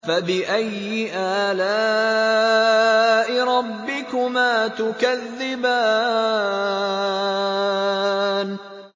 فَبِأَيِّ آلَاءِ رَبِّكُمَا تُكَذِّبَانِ